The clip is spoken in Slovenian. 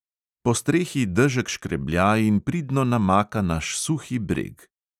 Po strehi dežek škreblja in pridno namaka naš suhi breg.